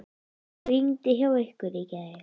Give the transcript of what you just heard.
Rigndi hjá ykkur í gær?